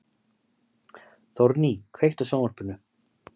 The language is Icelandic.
Þórný, kveiktu á sjónvarpinu.